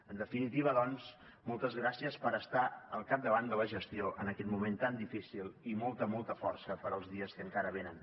en definitiva doncs moltes gràcies per estar al capdavant de la gestió en aquest moment tan difícil i molta molta força per als dies que encara venen